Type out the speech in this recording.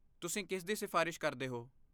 ਤੁਸੀਂ ਕਿਸ ਦੀ ਸਿਫ਼ਾਰਸ਼ ਕਰਦੇ ਹੋ?